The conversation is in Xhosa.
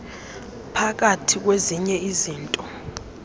phakathi kwezinye izinto